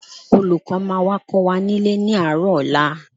Olùkọ́ máa wá kọ́ wa nílé ní àárọ̀ ọ̀la